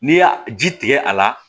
N'i y'a ji tigɛ a la